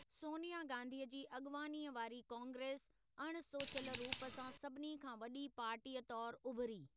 सोनिया गांधीअ जी अॻिवानीअ वारी कांग्रेस अणसोचियल रूप सां सभिनी खां वॾी पार्टीअ तौर उभिरी।